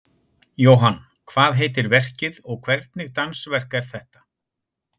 Jóhann, hvað heitir verkið og hvernig dansverk er þetta?